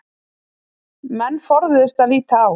Menn forðuðust að líta á